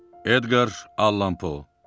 Edqar Allan Po.